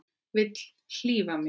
Vill hlífa mér.